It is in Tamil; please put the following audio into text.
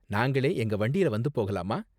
நாங்களே எங்க வண்டியில வந்து போகலாமா?